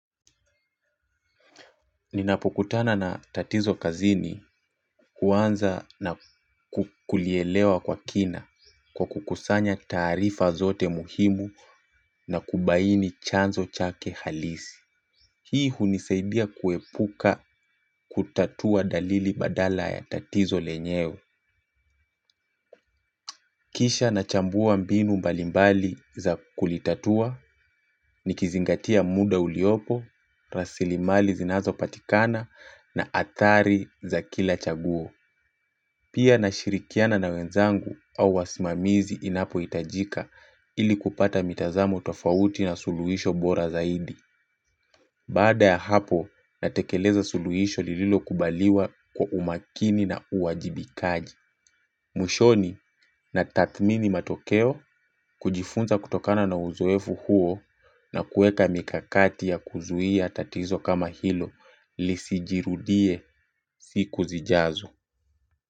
Ninapokutana na tatizo kazini huanza na kulielewa kwa kina kwa kukusanya taarifa zote muhimu na kubaini chanzo chake halisi. Hii hunisaidia kuepuka kutatua dalili badala ya tatizo lenyewe. Kisha na chambua mbinu mbalimbali za kulitatua, nikizingatia muda uliopo, rasilimali zinazo patikana na adhari za kila chaguo. Pia na shirikiana na wenzangu au wasimamizi inapo hitajika ili kupata mitazamo tofauti na suluhisho bora zaidi. Baada ya hapo natekeleza suluhisho lililo kubaliwa kwa umakini na uwajibikaji. Mwishoni na tathmini matokeo kujifunza kutokana na uzoefu huo na kuweka mikakati ya kuzuia tatizo kama hilo lisijirudie siku zijazo.